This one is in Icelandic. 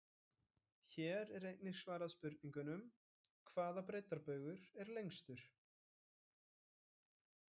Hér er einnig svarað spurningunum: Hvaða breiddarbaugur er lengstur?